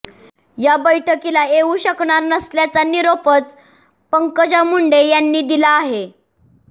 या बैठकीला येऊ शकणार नसल्याचा निरोपच पंकजा मुंडे यांनी दिला आहे